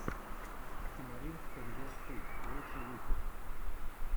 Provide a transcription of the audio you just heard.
тимарин стэндофф ту лучший выпуск